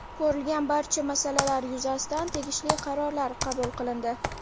Ko‘rilgan barcha masalalar yuzasidan tegishli qarorlar qabul qilindi.